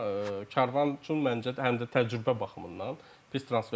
Amma Karvan üçün məncə həm də təcrübə baxımından pis transfer deyil.